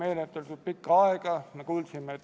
Austatud istungi juhataja!